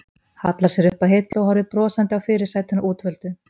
Hallar sér upp að hillu og horfir brosandi á fyrirsætuna útvöldu.